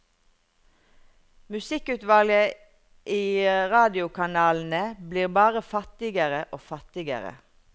Musikkutvalget i radiokanalene blir bare fattigere og fattigere.